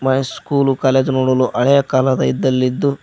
high school college ನೋಡಲು ಹಳೆಯ ಕಾಲದ ಇದ್ದಲ್ಲಿ ಇದ್ದು--